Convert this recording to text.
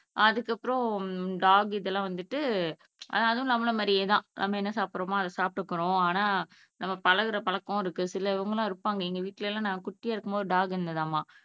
அதுக்கப்புறம் டாக் இதெல்லாம் வந்துட்டு அதும் நம்மள மாதிரியே தான் நம்ம என்ன சாப்பிடுறோமோ அதை சாப்பிடுக்கும் ஆனா நம்ம பழகுற பழக்கம் இருக்கு சில இவங்க எல்லாம் இருப்பாங்க எங்க வீட்ல எல்லாம் நான் குட்டியா இருக்கும்போது டாக் இருந்துதாமா